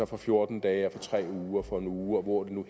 for fjorten dage for tre uger for en uge og hvor det nu